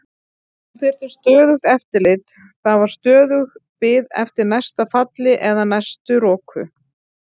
Hún þurfti stöðugt eftirlit, það var stöðug bið eftir næsta falli eða næstu roku.